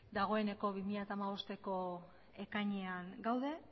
dagoeneko bi mila hamabostko ekainean gaude